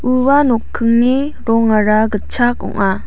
ua nokingni rongara gitchak ong·a.